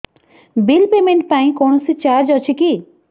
bill payment ପାଇଁ କୌଣସି charge ଅଛି କି